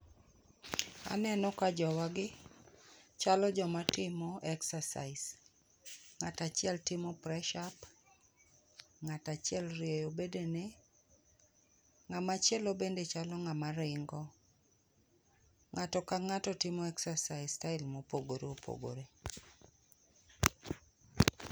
Aneno ka jowa gi, chalo joma timo exercise. Ng'at achiel timo press up, ng'at achiel orieyo bede ne, ng'ama chielo bende chalo ng'ama ringo. Ng'ato ka ng'ato timo exercise style mopogore opogore.